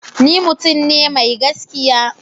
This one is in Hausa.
Ni mutum ne mai gaskiya.